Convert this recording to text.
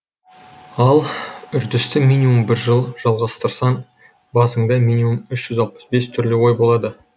ал үрдісті минимум бір жыл жалғастырсаң басыңда миниммум үш жүз алпыс бес түрлі ой болады